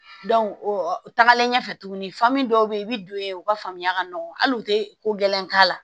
o tagalen ɲɛfɛ tuguni dɔw be yen i bi don ye u ka faamuya ka nɔgɔ hali u te ko gɛlɛn k'a la